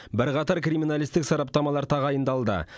бірқатар криминалистік сараптамалар тағайындалды